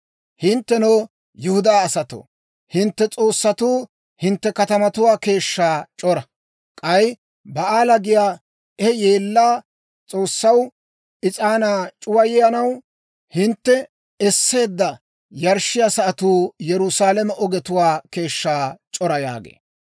Hinttenoo, Yihudaa asatoo, hintte s'oossatuu hintte katamatuwaa keeshshaa c'ora. K'ay Ba'aala giyaa he yeella s'oossaw is'aanaa c'uwayanaw hintte esseedda yarshshiyaa sa'atuu Yerusaalame ogetuwaa keeshshaa c'ora› yaagee.